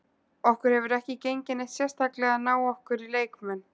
Okkur hefur ekki gengið neitt sérstaklega að ná okkur í leikmenn.